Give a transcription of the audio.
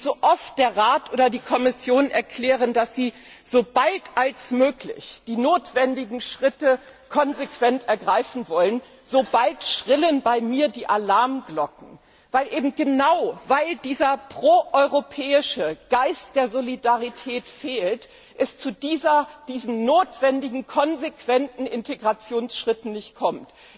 Und so oft der Rat oder die Kommission erklären, dass sie sobald als möglich die notwendigen Schritte konsequent ergreifen wollen, schrillen bei mir die Alarmglocken, weil genau dieser pro europäische Geist der Solidarität fehlt, es zu diesen notwendigen konsequenten Integrationsschritten nicht kommt.